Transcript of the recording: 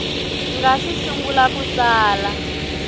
nga si sungula ku tsala